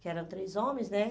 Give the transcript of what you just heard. Que eram três homens, né?